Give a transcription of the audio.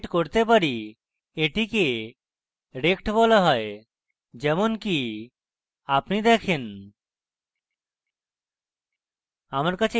এটিকে rect বলা হয় যেমনকি আপনি দেখেন